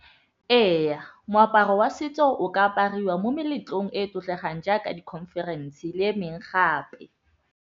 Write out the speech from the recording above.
Eya, moaparo wa setso o ka apariwa mo meletlong e tlotlegang jaaka di-conference le emeng gape.